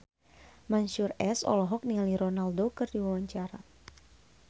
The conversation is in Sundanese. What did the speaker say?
Mansyur S olohok ningali Ronaldo keur diwawancara